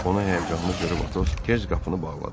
Onu həyəcanlı görüb Atos tez qapını bağladı.